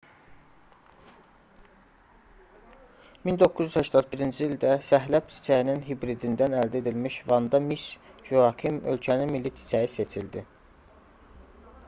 1981-ci ildə səhləb çiçəyinin hibridindən əldə edilmiş vanda miss joakim ölkənin milli çiçəyi seçildi